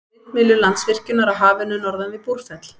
Vindmyllur Landsvirkjunar á Hafinu norðan við Búrfell.